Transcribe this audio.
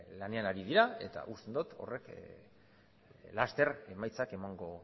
lanean ari dira eta uste dot horrek laster emaitzak emango